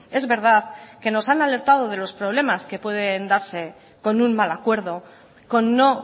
es verdad que nos han alertado de los problemas que pueden darse con un mal acuerdo con no